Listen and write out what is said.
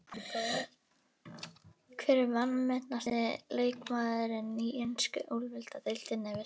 Hver er vanmetnasti leikmaðurinn í ensku úrvalsdeildinni?